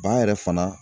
Ba yɛrɛ fana